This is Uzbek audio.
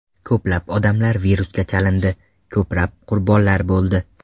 Ko‘plab odamlar virusga chalindi, ko‘plab qurbonlar bo‘ldi.